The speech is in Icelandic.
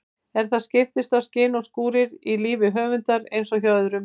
En það skiptast á skin og skúrir í lífi rithöfundar eins og hjá öðrum.